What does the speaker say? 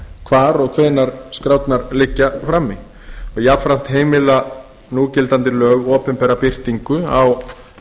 hvar og hvenær skrárnar liggja frammi jafnframt heimila núgildandi lög opinbera birtingu á